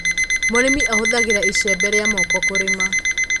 mũrĩmi ahuthagira icembe ria moko kurima